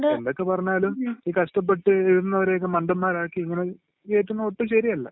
എന്തൊക്കെ പറഞ്ഞാലും ഈ കഷ്ടപ്പെട്ട് എഴുതുന്നവരെയൊക്കെ മണ്ടന്മാരാക്കി ഇവരീ കേറ്റുന്നത് ഒട്ടും ശരിയല്ല.